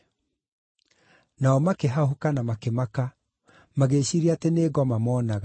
Nao makĩhahũka na makĩmaka, magĩĩciiria atĩ nĩ ngoma moonaga.